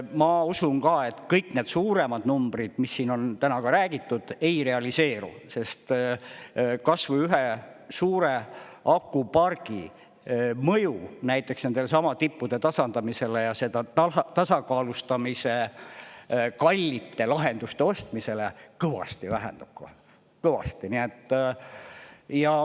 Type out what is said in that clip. Ma usun ka, et kõik need suuremad numbrid, mis siin on täna ka räägitud, ei realiseeru, sest kas või ühe suure akupargi mõju näiteks nendesamade tippude tasandamisele ja seda tasakaalustamise kallite lahenduste ostmisele kõvasti vähendama – kohe kõvasti!